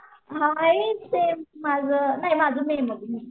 हाय same माझं नाही माझं मेमध्ये मे